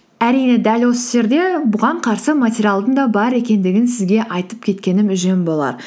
әрине дәл осы жерде бұған қарсы материалдың да бар екендігін сізге айтып кеткенім жөн болар